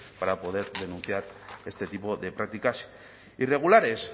para poder denunciar este tipo de prácticas irregulares